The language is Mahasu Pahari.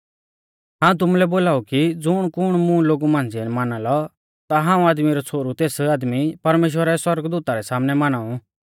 हाऊं तुमुलै बोलाऊ कि ज़ुणकुण मुं लोगु मांझ़िऐ माना लौ ता हाऊं आदमी रौ छ़ोहरु तेस आदमी परमेश्‍वरा रै सौरगदूता रै सामनै माना ऊ